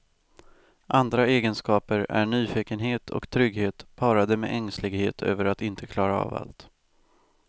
Andra egenskaper är nyfikenhet och trygghet parade med ängslighet över att inte klara av allt.